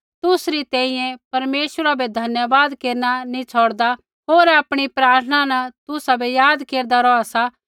तुसरी तैंईंयैं परमेश्वरा बै धन्यवाद केरना नैंई छ़ौड़दा होर आपणी प्रार्थना न तुसाबै याद केरदा रौहा सा